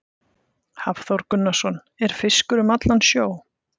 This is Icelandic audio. Hafþór Gunnarsson: Er fiskur um allan sjó?